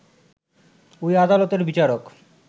ওই আদালতের বিচারক